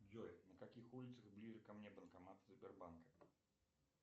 джой на каких улицах ближе ко мне банкоматы сбербанка